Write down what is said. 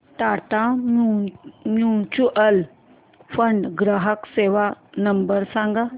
Tata mutual fund ग्राहक सेवा number सांगा